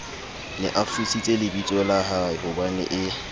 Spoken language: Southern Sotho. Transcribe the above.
ne a futsitse lebitsola haehobanee